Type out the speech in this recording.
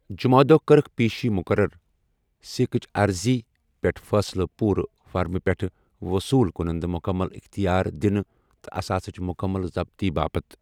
جمعہٕ دۄہ کٔرٕکھ پیشی مُقرر، سیکٕچ عرضی پیٹھ فیصلہٕ پوٗرٕ فرمہِ پیٹھ وصول کُنندٕ مُکمل اختیار دِنہٕ تہٕ اثاثٕچ مُکمل ضبطی باپت۔